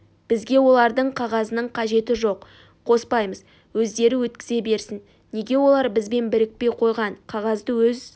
бізге олардың қағазының қажеті жоқ қоспаймыз өздері өткізе берсін неге олар бізбен бірікпей қойған қағазды өз